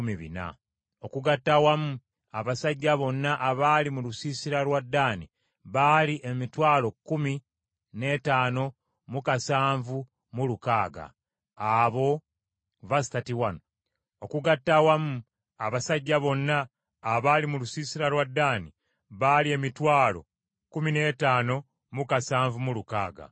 Okugatta awamu abasajja bonna abaali mu lusiisira lwa Ddaani baali emitwalo kkumi n’ettaano mu kasanvu mu lukaaga (157,600). Abo be banaasembangayo okusitula ng’olugendo lutuuse, ng’ebendera zaabwe bwe ziri.